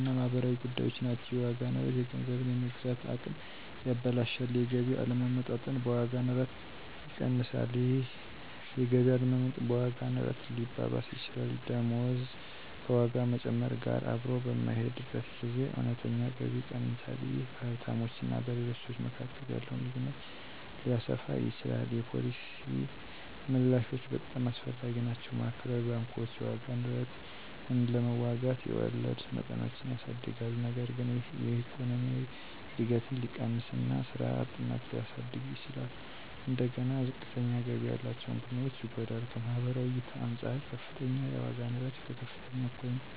እና ማህበራዊ ጉዳዮች ናቸው። የዋጋ ንረት የገንዘብን የመግዛት አቅም ያበላሻል። የገቢ አለመመጣጠን በዋጋ ንረት ሊባባስ ይችላል። ደሞዝ ከዋጋ መጨመር ጋር አብሮ በማይሄድበት ጊዜ እውነተኛ ገቢ ይቀንሳል። ይህ በሀብታሞች እና በሌሎች ሰዎች መካከል ያለውን ልዩነት ሊያሰፋ ይችላል። የፖሊሲ ምላሾች በጣም አስፈላጊ ናቸው። ማዕከላዊ ባንኮች የዋጋ ንረትን ለመዋጋት የወለድ መጠኖችን ያሳድጋሉ። ነገር ግን ይህ የኢኮኖሚ እድገትን ሊቀንስ እና ስራ አጥነትን ሊያሳድግ ይችላል። እንደገና ዝቅተኛ ገቢ ያላቸውን ቡድኖች ይጎዳል። ከማህበራዊ እይታ አንፃር - ከፍተኛ የዋጋ ንረት ከከፍተኛ እኩልነት ጋር ተዳምሮ የፖለቲካ አለመረጋጋትን እና ህዝቡን በተቋማት ላይ እምነት ማጣትን ያስከትላል።